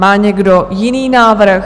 Má někdo jiný návrh?